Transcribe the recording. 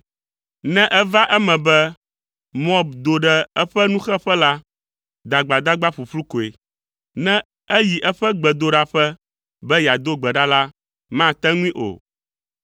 Ne eva eme be Moab do ɖe eƒe nuxeƒe la, dagbadagba ƒuƒlu koe. Ne eyi eƒe gbedoɖaƒe be yeado gbe ɖa la, mate ŋui o.